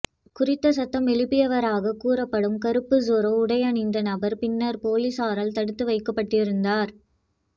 குறித்த சத்தம் எழுப்பியவராக கூறப்படும் கறுப்பு ஸொரோ உடையணிந்த நபர் பின்னர் பொலிஸாரால் தடுத்து வைக்கப்பட்டிருந்தார்